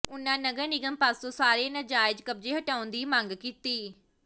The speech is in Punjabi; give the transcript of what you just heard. ਉਨ੍ਹਾਂ ਨਗਰ ਨਿਗਮ ਪਾਸੋਂ ਸਾਰੇ ਨਾਜਾਇਜ਼ ਕਬਜ਼ੇ ਹਟਾਉਣ ਦੀ ਮੰਗ ਕੀਤੀ